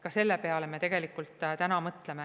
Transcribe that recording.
Ka selle peale me tegelikult täna mõtleme.